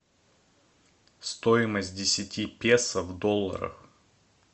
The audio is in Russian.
стоимость десяти песо в долларах